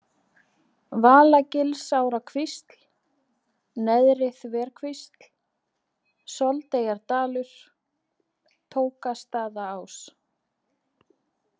Valagilsárkvísl, Neðri-Þverkvísl, Soldeyjardalur, Tókastaðaás